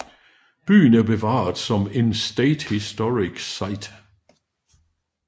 Byen er bevaret som en State Historic Site